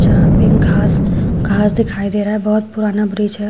यहां पे घास घास दिखाई दे रहा है बहोत पुराना ब्रिज है।